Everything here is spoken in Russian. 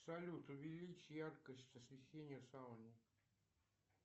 салют увеличь яркость освещения в сауне